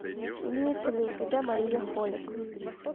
имеется ли у тебя мария холик